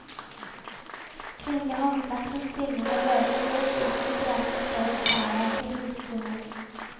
Kvinnelig håndverk som spinning og veving ble utvilsomt drevet i større skala enn til husbehov.